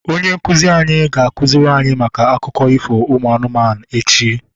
Onye nkụzi anyị ga-akụziri anyị maka akụkọ ifo ụmụ anụmanụ echi